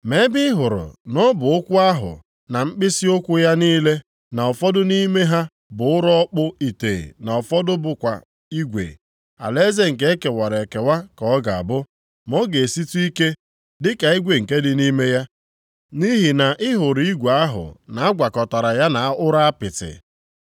Ma ebe ị hụrụ na ọbụ ụkwụ ahụ na mkpịsịụkwụ ya niile na ụfọdụ nʼime ha bụ ụrọ ọkpụ ite na ụfọdụ bụkwa igwe, alaeze nke ekewara ekewa ka ọ ga-abụ, ma ọ ga-esitụ ike dịka igwe nke dị nʼime ya, nʼihi na ị hụrụ igwe ahụ na agwakọtara ya na ụrọ apịtị.